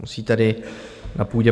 Musí tady na půdě